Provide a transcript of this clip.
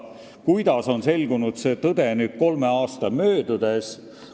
Kuidas on selgunud see alles nüüd, kolme aasta möödudes?